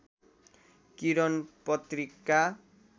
किरण पत्रिका